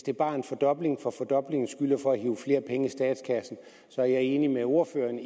det bare er en fordobling for fordoblingens skyld og for at hive flere penge ind i statskassen er jeg enig med ordføreren